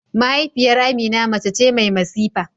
Mahaifiyar Amina mace ce mai masifa.